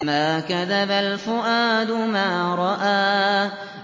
مَا كَذَبَ الْفُؤَادُ مَا رَأَىٰ